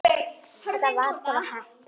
Þetta var bara heppni.